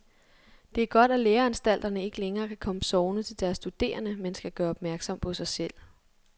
Det er godt, at læreanstalterne ikke længere kan komme sovende til deres studerende, men skal gøre opmærksom på sig selv.